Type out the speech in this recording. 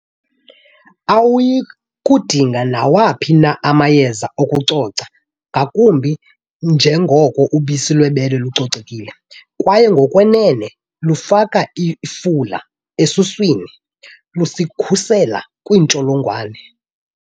Awuyi kudinga nawaphi na amayeza okucoca ngakumbi njengoko ubisi lwebele lucocekile, kwaye ngokwenene lufaka ifula esuswini, lusikhusele kwiintsholongwane.